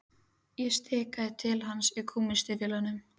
Ég stikaði til hans í gúmmístígvélunum.